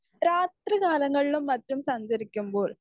speaker 1 രാത്രികാലങ്ങളിലും മറ്റും സഞ്ചരിക്കുമ്പോൾ